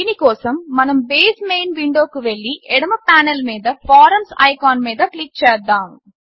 దీని కోసం మనం బేస్ మెయిన్ విండోకు వెళ్ళి ఎడమ పానెల్ మీద ఫారమ్స్ ఐకాన్ మీద క్లిక్ చేద్దాము